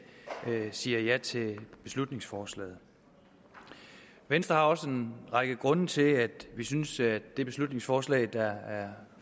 siger ja til beslutningsforslaget venstre har også en række grunde til at vi synes at det beslutningsforslag der